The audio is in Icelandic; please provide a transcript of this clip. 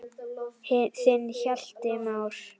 Þinn Hjalti Már.